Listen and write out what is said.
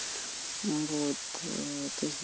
вот ээ то есть